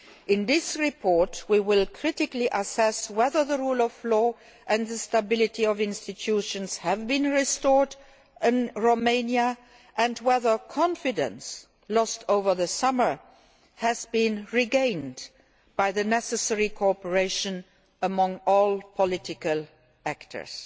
In this report we will critically assess whether the rule of law and the stability of institutions have been restored in Romania and whether confidence lost over the summer has been regained by the necessary cooperation among all political actors.